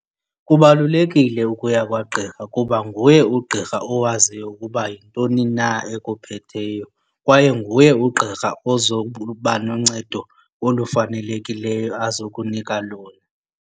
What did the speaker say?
Kubalulekile ukuya kwagqirha kuba nguye ugqirha owaziyo ukuba yintoni na ekuphetheyo kwaye nguye ugqirha ozoba noncedo olufanelekileyo azo nokunika lona.